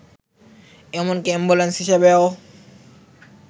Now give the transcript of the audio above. এমনকি অ্যাম্বুলেন্স হিসেবেও